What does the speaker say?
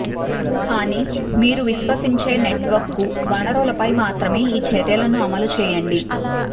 కానీ మీరు విశ్వసించే నెట్వర్క్ వనరులపై మాత్రమే ఈ చర్యలను అమలు చేయండి